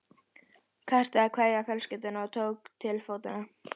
Kastaði kveðju á fjölskylduna og tók til fótanna.